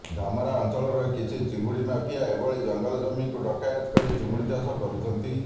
ଧାମରା ଅଂଚଳର କିଛି ଚିଙ୍ଗୁଡି ମାଫିଆ ଏଭଳି ଜଂଗଲ ଜମିକୁ କରାୟତ କରି ଚିଙ୍ଗୁଡି ଚାଷ କରୁଛନ୍ତି